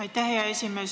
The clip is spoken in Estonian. Aitäh, hea esimees!